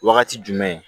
Wagati jumɛn